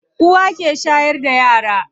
Uwa ke shayar da yara.